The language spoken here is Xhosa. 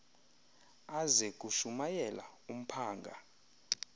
aze kushumayela umphanga